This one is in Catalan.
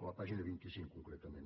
a la pàgina vint cinc concretament